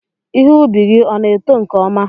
Ihe ubi gị ọ na-eto nke ọma?